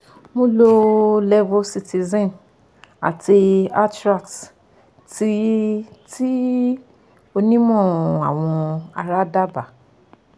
mo lo levocitizine àti atrax tí tí onímọ̀ awọ ara dábaa